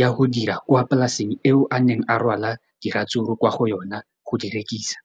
ya go dira kwa polaseng eo a neng rwala diratsuru kwa go yona go di rekisa.